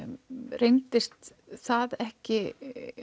reyndist það ekki